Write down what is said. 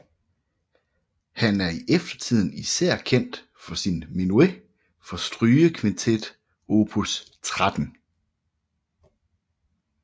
Han er i eftertiden især kendt for sin menuet fra strygekvintet opus 13